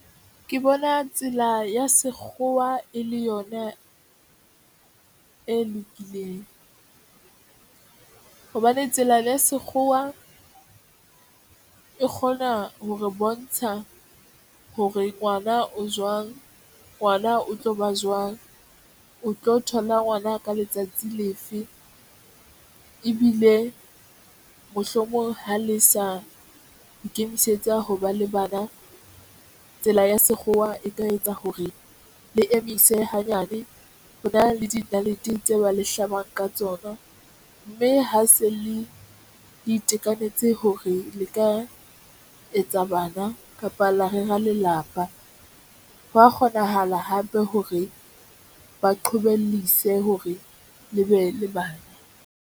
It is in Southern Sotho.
Ke bona tsela ya sekgowa e le yona e lokileng hobane tsela ya sekgowa e kgona ho re bontsha hore ngwana o jwang ngwana o tlo ba jwang, o tlo thola ngwana ka letsatsi le fe ebile mohlomong ha le sa ikemisetsa ho ba le bana tsela ya sekgowa e ka etsa hore le emise hanyane. Ho na le dinalete tse ba le hlabang ka tsona mme ha se le itekanetse hore le ka etsa bana kapa la rera lelapa. Ho ya kgonahala hape hore ba qhobellise hore le be le bana.